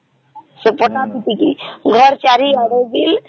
ସେ ପଟ ଦେଇକି ଘର ଚାରିଆଡେ ବି